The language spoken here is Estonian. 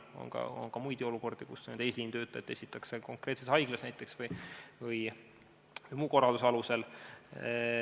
On ka muid olukordi, kus eesliinitöötajaid testitakse näiteks konkreetses haiglas või muu korralduse alusel.